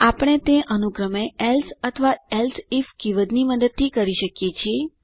આપણે તે અનુક્રમે એલ્સે અથવા એલ્સેઇફ કીવર્ડની મદદથી કરી શકીએ છીએ